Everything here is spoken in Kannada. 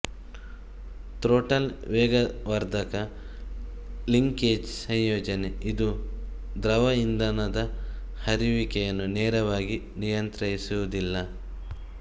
ಥ್ರೊಟಲ್ ವೇಗವರ್ಧಕ ಲಿಂಕೇಜ್ ಸಂಯೋಜನೆ ಇದು ದ್ರವ ಇಂಧನದ ಹರಿಯುವಿಕೆಯನ್ನು ನೇರವಾಗಿ ನಿಯಂತ್ರಿಸುವುದಿಲ್ಲ